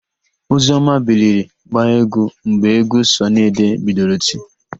Ozioma biliri gbaa égwú mgbe égwú Sọnị Ade bidoro iti.